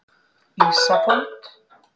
Ísafold